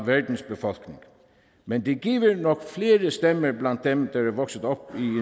verdens befolkning men det giver nok flere stemmer blandt dem der er vokset op i en